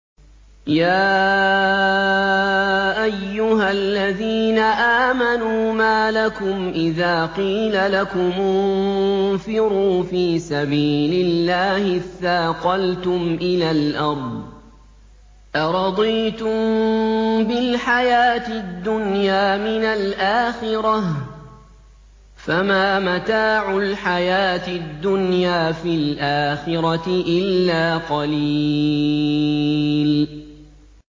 يَا أَيُّهَا الَّذِينَ آمَنُوا مَا لَكُمْ إِذَا قِيلَ لَكُمُ انفِرُوا فِي سَبِيلِ اللَّهِ اثَّاقَلْتُمْ إِلَى الْأَرْضِ ۚ أَرَضِيتُم بِالْحَيَاةِ الدُّنْيَا مِنَ الْآخِرَةِ ۚ فَمَا مَتَاعُ الْحَيَاةِ الدُّنْيَا فِي الْآخِرَةِ إِلَّا قَلِيلٌ